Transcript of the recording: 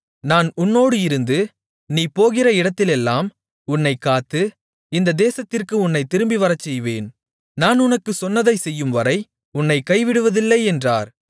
நான் உன்னோடு இருந்து நீ போகிற இடத்திலெல்லாம் உன்னைக் காத்து இந்தத் தேசத்திற்கு உன்னைத் திரும்பி வரச்செய்வேன் நான் உனக்குச் சொன்னதைச் செய்யும்வரை உன்னைக் கைவிடுவதில்லை என்றார்